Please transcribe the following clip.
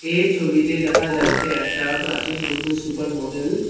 এই ছবিতে দেখা যাচ্ছে একটা প্রাচীন বৌদ্ধ স্তূপার মডেল ।